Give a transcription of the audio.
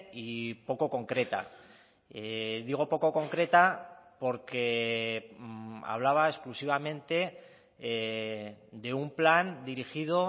y poco concreta digo poco concreta porque hablaba exclusivamente de un plan dirigido